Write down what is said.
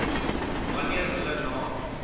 wanneer hulle na